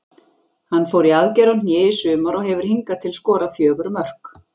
Hann fór í aðgerð á hné í sumar og hefur hingað til skorað fjögur mörk.